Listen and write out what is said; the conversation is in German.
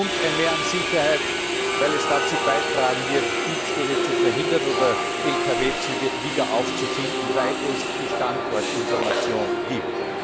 und ein Mehr an Sicherheit, weil er dazu beitragen wird, Diebstähle zu verhindern oder Lkw Züge wieder aufzufinden, weil er die Standortinformation gibt.